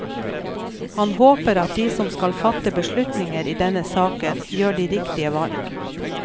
Han håper at de som skal fatte beslutninger i denne saken, gjør de riktige valg.